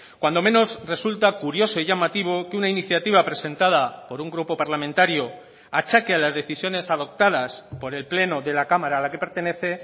cuando menos resulta curioso y llamativo que una iniciativa presentada por un grupo parlamentario achaque a las decisiones adoptadas por el pleno de la cámara a la que pertenece